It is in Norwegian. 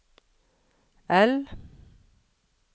L